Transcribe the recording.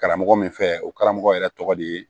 Karamɔgɔ min fɛ o karamɔgɔ yɛrɛ tɔgɔ de ye